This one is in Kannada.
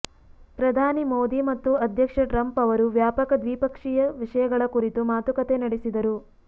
ಪ್ರಧಾನಿ ಮೋದಿ ಮತ್ತು ಅಧ್ಯಕ್ಷ ಟ್ರಂಪ್ ಅವರು ವ್ಯಾಪಕ ದ್ವಿಪಕ್ಷೀಯ ವಿಷಯಗಳ ಕುರಿತು ಮಾತುಕತೆ ನಡೆಸಿದರು